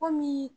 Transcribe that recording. Kɔmi